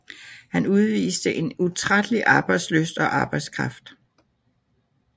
Han udviste en utrættelig arbejdslyst og arbejdskraft